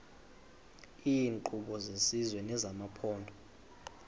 iinkqubo zesizwe nezamaphondo